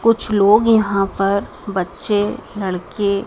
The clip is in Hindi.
कुछ लोग यहाँ पर बच्चे लड़के --